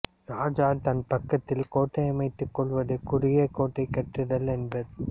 ராஜா தன் பக்கத்தில் கோட்டை அமைத்துக் கொள்வதை குறுகிய கோட்டை கட்டுதல் என்பர்